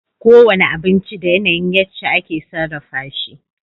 Kowane abinci da yana yin yace ake sarrafa shi